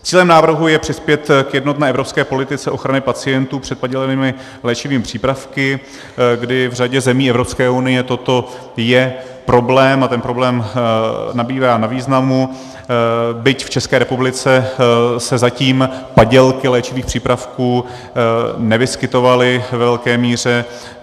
Cílem návrhu je přispět k jednotné evropské politice ochrany pacientů před padělanými léčivými přípravky, kdy v řadě zemí Evropské unie toto je problém a ten problém nabývá na významu, byť v České republice se zatím padělky léčivých přípravků nevyskytovaly ve velké míře.